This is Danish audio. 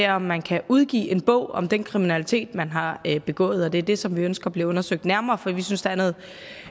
om man kan udgive en bog om den kriminalitet man har begået og det er det som vi ønsker bliver undersøgt nærmere for vi synes der er noget